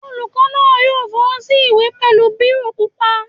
Olùkọ́ náà yóò fọwọ́ sí ìwé pẹ̀lú bírò pupa